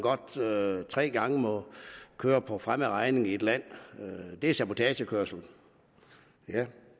tre gange må køre for fremmed regning i et land det er sabotagekørsel ja